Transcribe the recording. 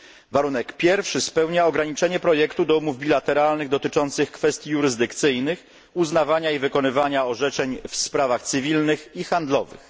Warunek pierwszy spełnia ograniczenie projektu do umów bilateralnych dotyczących kwestii jurysdykcyjnych, uznawania i wykonywania orzeczeń w sprawach cywilnych i handlowych.